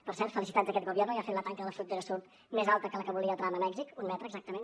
per cert felicitats a aquest gobierno ja ha fet la tanca de la frontera sud més alta que la que volia trump a mèxic un metre exactament